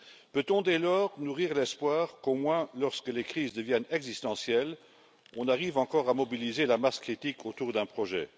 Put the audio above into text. Peut on, dès lors, nourrir l'espoir qu'au moins lorsque les crises deviennent existentielles, on arrive encore à mobiliser la masse critique autour d'un projet?